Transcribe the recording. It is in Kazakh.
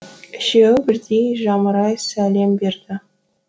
үшеуі бірдей жамырай сәлем берді